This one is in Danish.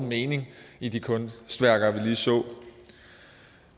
mening i de kunstværker man lige så